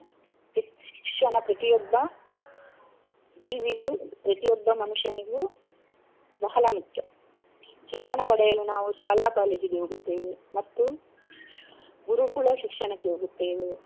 ಶಿಕ್ಷಣ ಪ್ರತಿಯೊಬ್ಬ ಜೀವಿಗೂ ಪ್ರತಿಯೊಬ್ಬ ಮನುಷ್ಯನಿಗೂ ಬಹಳ ಮುಖ್ಯ ಶಿಕ್ಷಣ ಪಡೆಯಲು ನಾವು ಶಾಲಾ ಕಾಲೇಜಿಗೆ ಹೋಗುತ್ತೇವೆ ಮತ್ತು ಗುರುಕುಲ ಶಿಕ್ಷಣಕ್ಕೆ ಹೋಗುತ್ತೇವೆ.